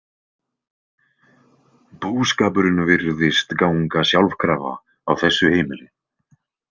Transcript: Búskapurinn virðist ganga sjálfkrafa á þessu heimili.